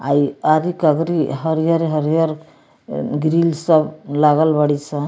आ ई आधी कबरी हरियर-हरियर ए ग्रिल सब लागल बाड़ी स।